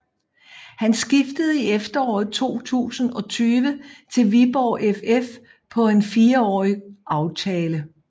Han skiftede i efteråret 2020 til Viborg FF på en fireårig aftale